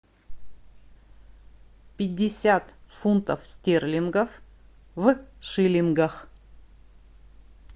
пятьдесят фунтов стерлингов в шиллингах